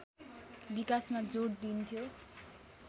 विकासमा जोड दिइन्थ्यो